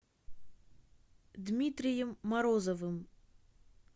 дмитрием морозовым